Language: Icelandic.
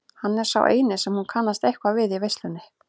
Hann er sá eini sem hún kannast eitthvað við í veislunni.